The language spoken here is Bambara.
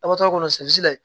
A ka to a kɔnɔ la